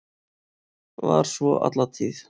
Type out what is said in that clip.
Var svo alla tíð.